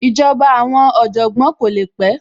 Ìjọba àwọn Ọ̀jọ̀gbọ́n kò le pẹ́